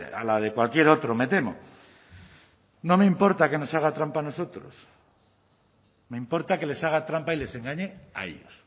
a la de cualquier otro me temo no me importa que nos haga trampa a nosotros me importa que les haga trampa y les engañe a ellos